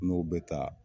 N'o bɛ taa